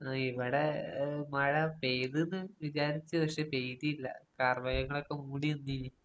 ഇവിടെ മഴ പെയ്ത്ന്ന് വിചാരിച്ചു പക്ഷെ പെയ്തില്ല. കാർമേഘങ്ങളൊക്കെ മൂടി വന്നീനി.